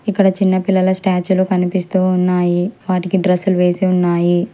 అక్కడ చిన్న పిల్లల స్టాచిలు కనిపిస్తూ ఉన్నాయి వాటికి డ్రెస్లు వేసి ఉన్నాయి.